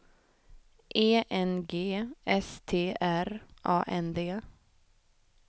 E N G S T R A N D